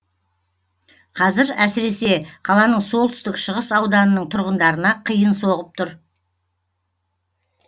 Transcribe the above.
қазір әсіресе қаланың солтүстік шығыс ауданының тұрғындарына қиын соғып тұр